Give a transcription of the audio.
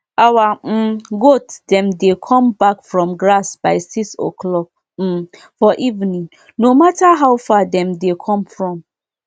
the people um wey dey um ensure say peace dey for village dey settle any wahala wey come from things wey concern animal to dey chop um together.